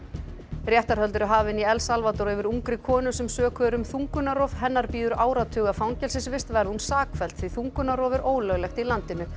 réttarhöld eru hafin í El Salvador yfir ungri konu sem sökuð er um þungunarrof hennar bíður áratuga fangelsisvist verði hún sakfelld því þungunarrof er ólöglegt í landinu